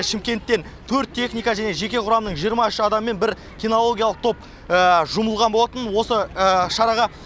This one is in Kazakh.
шымкенттен төрт техника және жеке құрамның жиырма үш адамы мен бір кинологиялық топ жұмылған болатын осы шараға